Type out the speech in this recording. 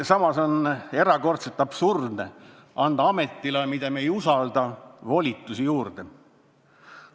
Samas on erakordselt absurdne anda ametile, mida me ei usalda, volitusi juurde.